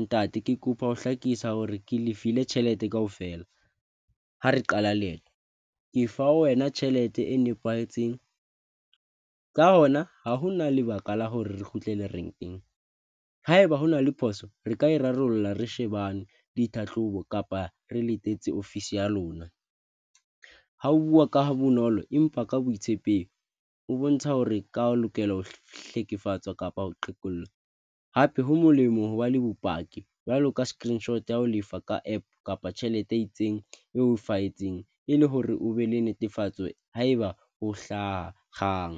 ntate, ke kopa ho hlakisa hore ke lefile tjhelete kaofela, ha re qala leeto, ke fa wena tjhelete e nepahetseng. Ka hona ha hona lebaka la hore re kgutlele renkeng. Haeba hona le phoso re ka e rarollla, re shebane ditlhahlobo kapa re letsetse ofisi ya lona. Ha o bua ka ha bonolo empa ka boitshepehi o bontsha hore ka o lokela ho hlekefetswa kapa ho qhekella hape, ho molemo hoba le bopaki jwalo ka screenshot ya ho lefa ka app kapa tjhelete e itseng e o fa etseng e le hore o be le netefatso haeba o hlaha kgang.